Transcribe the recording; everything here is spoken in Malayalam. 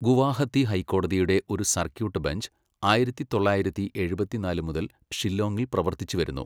ഗുവാഹത്തി ഹൈക്കോടതിയുടെ ഒരു സർക്യൂട്ട് ബെഞ്ച് ആയിരത്തി തൊള്ളായിരത്തി എഴുപത്തിനാല് മുതൽ ഷില്ലോങ്ങിൽ പ്രവൃത്തിച്ചു വരുന്നു.